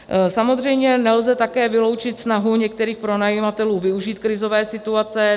Samozřejmě nelze také vyloučit snahu některých pronajímatelů využít krizové situace.